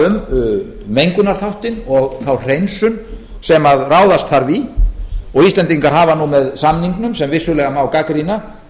um mengunarþáttinn og þá hreinsun sem ráðast þarf í og íslendingar hafa nú með samningnum sem vissulega má gagnrýna